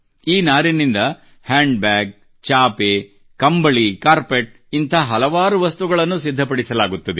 ಈ ನಾರಿನಿಂದ ಹ್ಯಾಂಡ್ಬ್ಯಾಗ್ ಚಾಪೆ ಕಾರ್ಪೆಟ್ ಕಂಬಳಿ ಇಂಥ ಹಲವಾರು ವಸ್ತುಗಳನ್ನು ಸಿದ್ಧಪಡಿಸಲಾಗುತ್ತದೆ